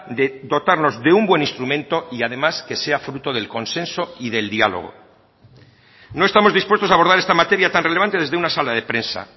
de dotarnos de un buen instrumento y además que sea fruto del consenso y del diálogo no estamos dispuestos a abordar esta materia tan relevante desde una sala de prensa